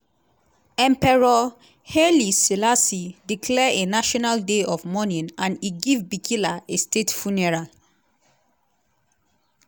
emperor haile selassie declare a national day of mourning and e give bikila a state funeral.